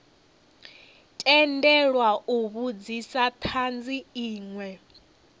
tendelwa u vhudzisa thanzi inwe